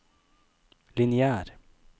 lineær